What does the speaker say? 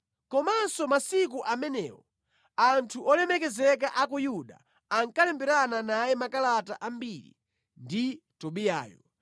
Komanso masiku amenewo anthu olemekezeka a ku Yuda ankalemberana naye makalata ambiri ndi Tobiyayo,